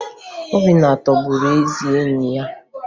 Obinna tọgburu ezi enyi ya